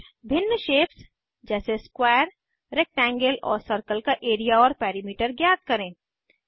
फिर भिन्न शेप्स जैसे स्क्वायर रेक्टेंगल और सर्कल का एरिया और पेरिमीटर ज्ञात करें